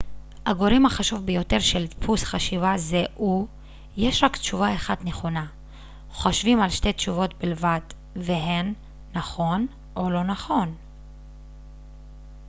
הגורם החשוב ביותר של דפוס חשיבה זה הוא יש רק תשובה אחת נכונה חושבים על שתי תשובות בלבד והן נכון או לא נכון